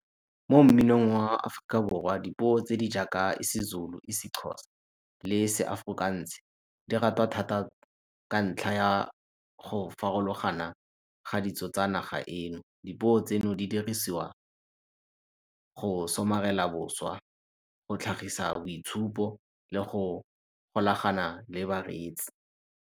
Mo mminong wa Aforika Borwa, dipuo tse di jaaka isiZulu, isiXhosa le seAfrikaans di ratwa thata ka ntlha ya go farologana ga ditso tsa naga eno. Dipuo tseno di dirisiwa go somarela boswa, go tlhagisa boitshupo le go golagana le bareetsi.